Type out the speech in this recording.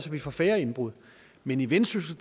vi får færre indbrud men i vendsyssel